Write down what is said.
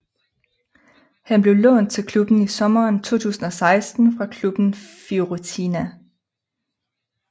Han blev lånt til klubben i sommeren 2016 fra klubben Fiorentina